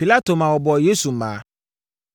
Pilato ma wɔbɔɔ Yesu mmaa.